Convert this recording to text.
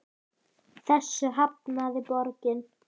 Þessu hafnaði borgin.